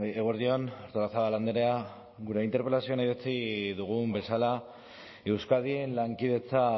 eguerdi on artolazabal andrea gure interpelazioan adierazi dugun bezala euskadin lankidetza